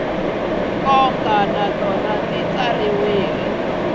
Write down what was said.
nkoka na tona ti tsariwile